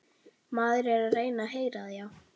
Maður er að heyra það, já.